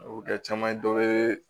A bɛ kɛ caman dɔ bɛ